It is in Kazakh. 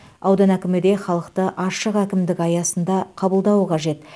аудан әкімі де халықты ашық әкімдік аясында қабылдауы қажет